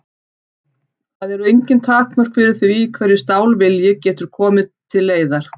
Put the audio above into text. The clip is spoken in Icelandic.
Það eru engin takmörk fyrir því hverju stálvilji getur til leiðar komið.